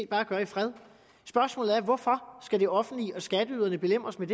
bare gøre i fred spørgsmålet er hvorfor skal det offentlige og skatteyderne belemres med